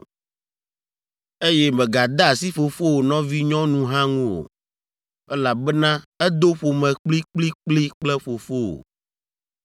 “ ‘Eye mègade asi fofowò nɔvinyɔnu hã ŋu o, elabena edo ƒome kplikplikpli kple fofowò.